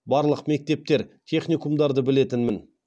барлық мектептер техникумдарды білетінмін